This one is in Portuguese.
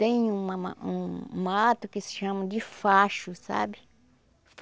Tem um ma ma um mato que se chama de facho, sabe?